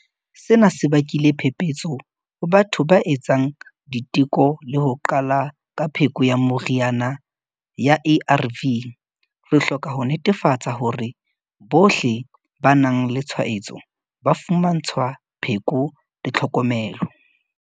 Sena se bakile phephetso ho batho ba etsang diteko le ho qala ka pheko ya meriana ya ARV. Re hloka ho netefatsa hore bohle ba nang le tshwaetso ba fumantshwa pheko le tlhokomelo.